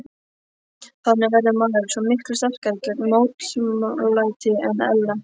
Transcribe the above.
Þannig verður maður svo miklu sterkari gegn mótlæti en ella.